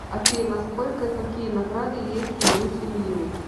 афина сколько и какие награды есть у люси лью